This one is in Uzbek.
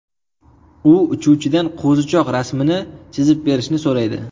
U uchuvchidan qo‘zichoq rasmini chizib berishni so‘raydi.